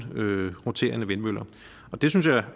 roterende vindmøller og det synes jeg